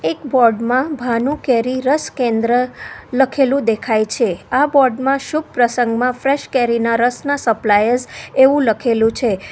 Board માં ભાનુ કેરી રસ કેન્દ્ર લખેલું દેખાય છે આ બોર્ડ માં શુભ પ્રસંગમાં ફ્રેશ કેરીના રસના સપ્લાયર્સ એવું લખેલું છે.